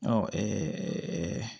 Ɔ